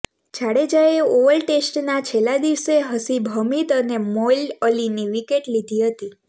જાડેજાએ ઓવલ ટેસ્ટના છેલ્લા દિવસે હસીબ હમીદ અને મોઇન અલીની વિકેટ લીધી હતી